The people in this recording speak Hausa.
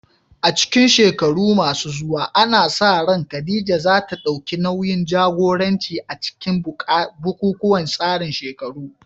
A cikin shekaru masu zuwa, ana sa ran Khadija za ta dauki nauyin jagoranci a cikin bukukuwan tsarin shekaru